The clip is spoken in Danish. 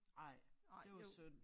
Ej det var synd